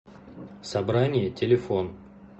собрание телефон